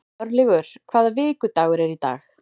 Örlygur, hvaða vikudagur er í dag?